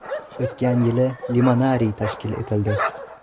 O‘tgan yili limonariy tashkil etildi.